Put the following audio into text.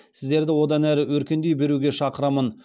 сіздерді одан әрі өркендей беруге шақырамын